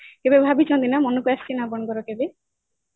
କେବେ ଭାବିଛନ୍ତି ନା ମନକୁ ଆସିଛି ନା ଆପଣଙ୍କର କେବେ